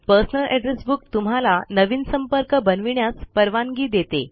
personal address book तुम्हाला नवीन संपर्क बनविण्यास परवानगी देते